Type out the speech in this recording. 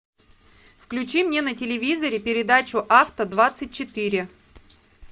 включи мне на телевизоре передачу авто двадцать четыре